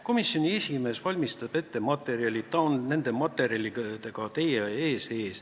Komisjoni esimees valmistab ette materjalid, ta on nende materjalidega teie ees.